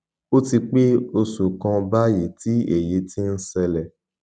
ó ti pé oṣù kan báyìí tí èyí ti ń ṣẹlẹ